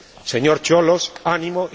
Señor Cioloş, ¡ánimo!,